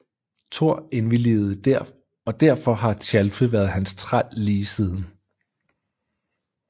Thor indvilligede og derfor har Tjalfe været hans træl lige siden